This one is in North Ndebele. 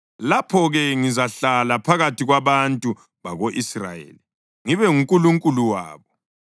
Lapho-ke ngizahlala phakathi kwabantu bako-Israyeli ngibe nguNkulunkulu wabo.